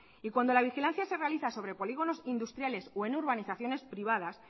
y cuando la vigilancia se realiza sobre polígonos industriales o en urbanizaciones privadas